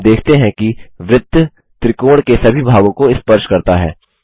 हम देखते हैं कि वृत्त त्रिकोण के सभी भागों को स्पर्श करता है